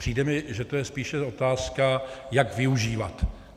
Přijde mi, že to je spíše otázka, jak využívat.